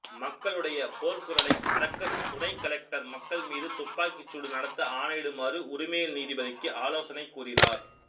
மக்களுடைய போர்க்குரலை அடக்கத் துணை கலெக்டர் மக்கள் மீது துப்பாக்கிச்சூடு நடத்த ஆணையிடுமாறு உரிமையியல் நீதிபதிக்கு ஆலோசனைக் கூறினார்